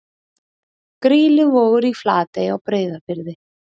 Grýluvogur í Flatey á Breiðafirði.